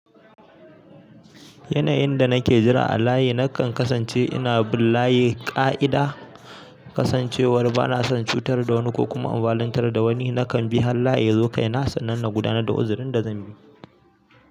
Yanayin da nake jira a layi nakan kasance ina bin layi ƙa'ida. Kasan cewa banason cutarwa dawa ni ko kuma over lankar da wani nakan bi har layi yazo kaina sannan na guda nar da uzurin da zanyi.